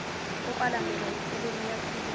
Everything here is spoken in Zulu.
okwalandelwa yinkulumo eyathulwa